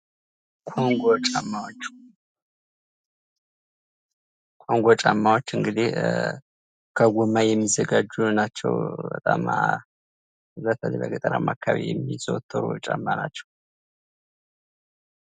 ኮንጎ ጫማዎች ኮንጎ ጫማዎች እንግዲህ ከጎማ የሚዘጋጁ ናቸው በጣም በተለይ በገጠርማ አካባቢ የሚዘወትሩ ጫማ ናቸው ::